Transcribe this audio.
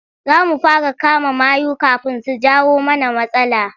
Za mu fara kama mayu kafin su jawo mana matsala.